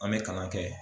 An bɛ kalan kɛ